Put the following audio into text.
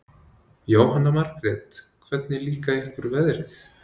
Jóhanna Margrét: Hvernig líka ykkur veðrið?